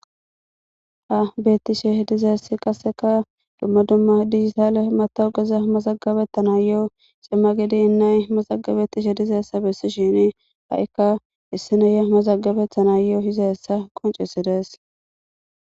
Ha beetishe dizaysi kaseka duma duma dijitalle metawekeza mazagabetanayo cima gudin na'ay mazaganetishe dizaysa besishini ha'ika issi na'iya mazagabetanayo utizaysa qoncises.